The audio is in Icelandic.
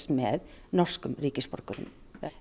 með norskum ríkisborgurum